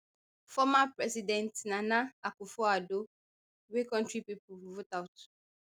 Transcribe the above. former president nana akufoaddo wey kontri pipo vote out